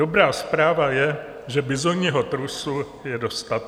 Dobrá zpráva je, že bizonního trusu je dostatek.